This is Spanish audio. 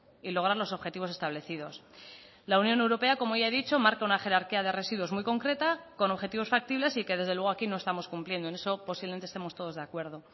y lograr los objetivos establecidos la unión europea como ya he dicho marca una jerarquía de residuos muy concreta con objetivos factibles y que desde luego aquí no estamos cumpliendo en eso posiblemente estemos todos de acuerdo